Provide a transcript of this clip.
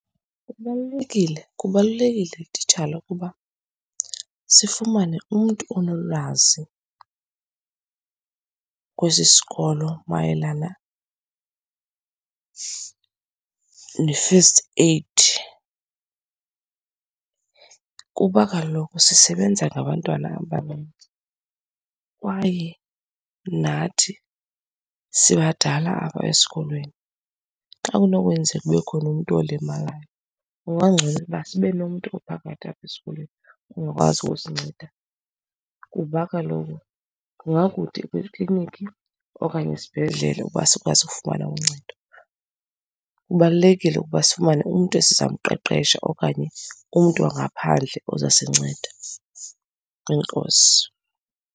Kubalulekile, kubalulekile titshala ukuba sifumane umntu onolwazi kwesi sikolo mayelana ne-first aid, kuba kaloku sisebenza ngabantwana abanintsi, kwaye nathi sibadala apha esikolweni. Xa kunokwenzeka kube khona umntu olimayo kungagcono uba sibe nomntu ophakathi apha esikolweni ongakwazi usinceda, kuba kaloku kungakude ukuya eklinikhi okanye esibhedlele uba asikwazi ukufumana uncedo. Kubalulekile ukuba sifumane umntu esizamqeqesha okanye umntu wangaphandle ozasinceda. Enkosi